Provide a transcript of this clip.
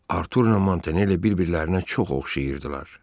Arturla Montanelli bir-birlərinə çox oxşayırdılar.